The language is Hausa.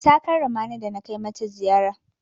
Ta karrama ni da na kai mata ziyara.